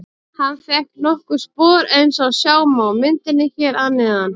Hann fékk nokkur spor eins og sjá má á myndinni hér að neðan.